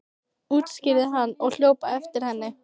útskýrði hann og hljóp á eftir henni.